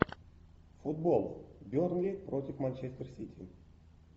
футбол бернли против манчестер сити